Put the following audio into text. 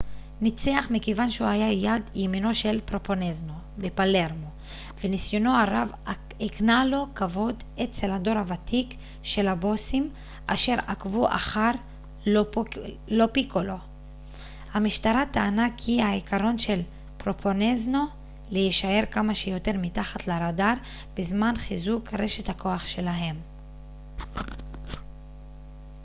"המשטרה טענה כי "lo piccolo" ניצח מכיוון שהוא היה יד ימינו של פרובנזנו בפלרמו וניסיונו הרב הקנה לו כבוד אצל הדור הותיק של הבוסים אשר עקבו אחר העקרון של פרובנזנו להישאר כמה שיותר מתחת לראדאר בזמן חיזוק רשת הכוח שלהם.